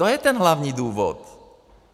To je ten hlavní důvod.